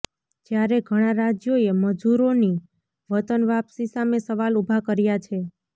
જ્યારે ઘણાં રાજ્યોએ મજૂરોની વતન વાપસી સામે સવાલ ઉભા કર્યા છે